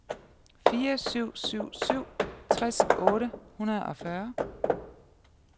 fire syv syv syv tres otte hundrede og fyrre